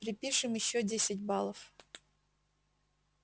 припишем ещё десять баллов